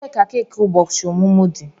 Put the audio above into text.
Ebee ka keki ụbọchị ọmụmụ dị?